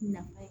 Nafa ye